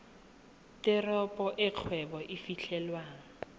teropo e kgwebo e fitlhelwang